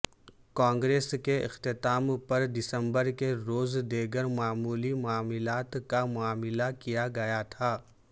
کانگریس کے اختتام پر دسمبر کے روز دیگر معمولی معاملات کا معاملہ کیا گیا تھا